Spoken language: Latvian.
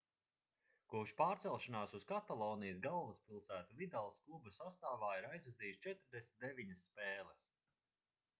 kopš pārcelšanās uz katalonijas galvaspilsētu vidals kluba sastāvā ir aizvadījis 49 spēles